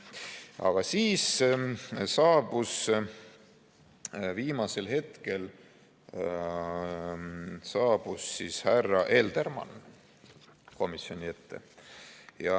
Aga siis viimasel hetkel saabus härra Eldermann komisjoni ette.